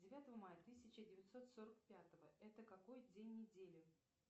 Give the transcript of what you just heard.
девятого мая тысяча девятьсот сорок пятого это какой день недели